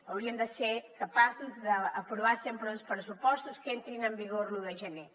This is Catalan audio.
hauríem de ser capaços d’aprovar sempre uns pressupostos que entrin en vigor l’un de gener